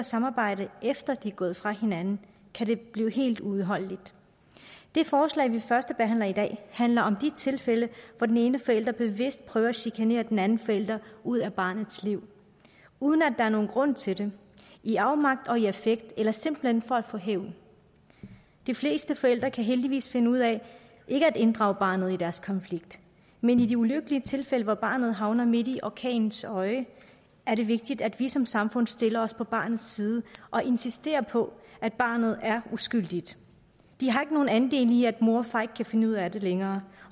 samarbejde efter de er gået fra hinanden kan det blive helt uudholdeligt det forslag vi førstebehandler i dag handler om de tilfælde hvor den ene forælder bevidst prøver at chikanere den anden forælder ud af barnets liv uden at der er nogen grund til det i afmagt og i affekt eller simpelt hen for at få hævn de fleste forældre kan heldigvis finde ud af ikke at inddrage barnet i deres konflikt men i de ulykkelige tilfælde hvor barnet havner midt i orkanens øje er det vigtigt at vi som samfund stiller os på barnets side og insisterer på at barnet er uskyldigt det har ikke nogen andel i at mor og far ikke kan finde ud af det længere